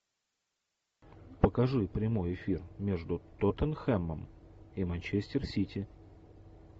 покажи прямой эфир между тоттенхэмом и манчестер сити